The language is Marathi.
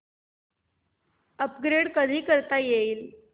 अपग्रेड कधी करता येईल